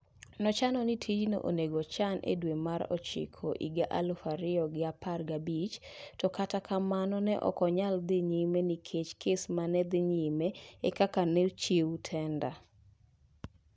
Ne ochan ni tijno onengo ochan e dwe mar ochiko higa alufu ariyo gi apar gi abich to kata kamano ne ok onyalo dhi nyime nikech kes manedhi nyime e kaka ne ochiw tenda.